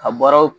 A bɔra